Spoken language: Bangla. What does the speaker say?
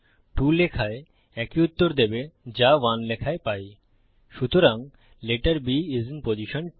2 লেখায় একই উত্তর দেবে যা 1 লেখায় পাইসুতরাং letter B is in position 2